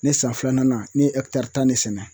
Ne san filanan na ne ye ɛkitari tan ne sɛnɛ